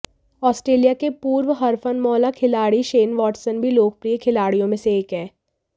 Australia के पूर्व हरफनमौला खिलाड़ी शेन वाटसन भी लोकप्रिय खिलाड़ियो में से एक हैं